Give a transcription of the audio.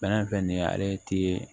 Fɛn fɛn nin ye ale ti